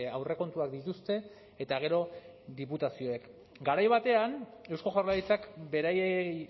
aurrekontuak dituzte eta gero diputazioak garai batean eusko jaurlaritzak beraiei